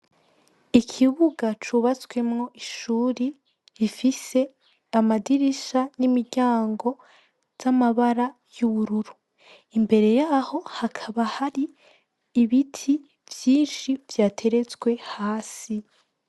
Ikibuga cubatswemwo ishuri rifise amadirisha n'imiryango z'amabara y'ubururu imbere yaho hakaba hari ibiti vyinshi vyateretswe hasi.